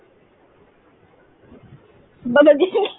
হ্যাঁ